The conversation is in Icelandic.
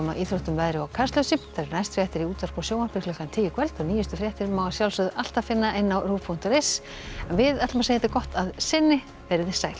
íþróttum veðri og Kastljósi næstu fréttir eru í útvarpi og sjónvarpi klukkan tíu í kvöld og nýjustu fréttir má alltaf finna á rúv punktur is en við segjum þetta gott að sinni veriði sæl